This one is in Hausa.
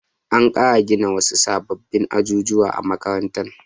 An ƙara gina wasu sababbin ajujuwa a makarantar.